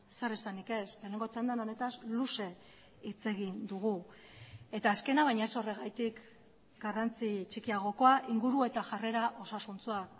zer esanik ez lehenengo txandan honetaz luze hitz egin dugu eta azkena baina ez horregatik garrantzi txikiagokoa inguru eta jarrera osasuntsua